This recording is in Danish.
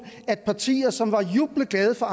hvor partier som var jublende glade for